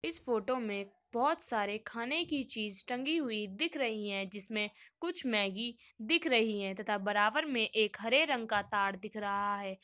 इस फ़ोटो में बोहोत सारे खाने की चीज़ टंगी हुई दिख रही हैं जिसमे कुछ मैगी दिख रही हैं तथा बराबर में एक हरे रंग का ताड़ दिख रहा है।